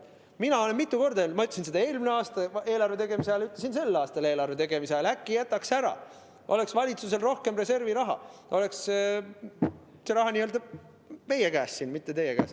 Mina olen mitu korda öelnud, ma ütlesin seda eelmine aasta eelarve tegemise ajal ja ütlesin sel aastal eelarve tegemise ajal: äkki jätaks ära, siis oleks valitsusel rohkem reserviraha, see raha oleks n‑ö meie käes siin, mitte teie käes.